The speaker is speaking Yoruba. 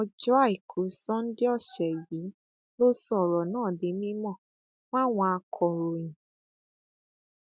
ọjọ àìkú sánńdé ọsẹ yìí ló sọ ọrọ náà di mímọ fáwọn akọròyìn